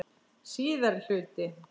Síðari hluti